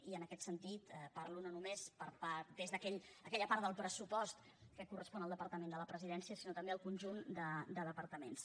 i en aquest sentit parlo no només d’aquella part del pressupost que correspon al departament de la presidència sinó també del conjunt de departaments